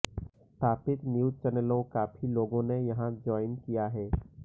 स्थापित न्यूज चैनलों काफी लोगों ने यहां ज्वाइन किया है